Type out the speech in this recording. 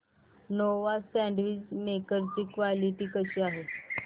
Nova sandwich maker ची quality कशी आहे